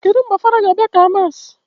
Kedụ mgbe fada ga abịa ka mass?